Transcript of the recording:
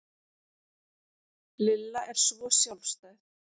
Lilla er svo sjálfstæð